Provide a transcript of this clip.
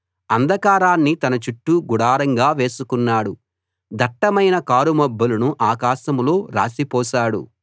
అంధకారాన్ని తన చుట్టూ గుడారంగా చేసుకున్నాడు దట్టమైన కారుమబ్బులను ఆకాశంలో రాశి పోశాడు